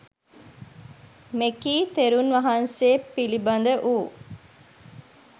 මෙකී තෙරුන් වහන්සේ පිළිබඳ වූ